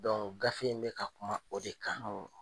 gafe in be ka kuma o de kan.